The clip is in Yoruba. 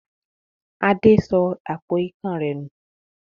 Adé sọ àpò ikán rẹ̀ nù.